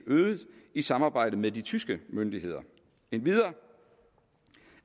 øget i samarbejde med de tyske myndigheder endvidere